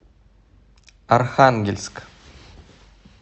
архангельск